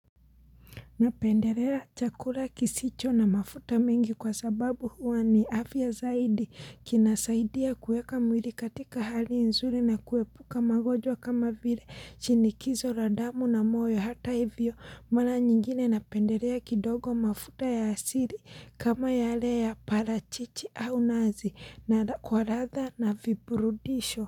Napendelea chakula kisicho na mafuta mengi kwa sababu huwa ni afya zaidi kinasaidia kueka mwili katika hali nzuri na kuepuka magojwa kama vile chinikizo la damu na moyo hata hivyo mara nyingine napendelea kidogo mafuta ya asili kama yale ya parachichi au nazi na kwa ladha na viburudisho.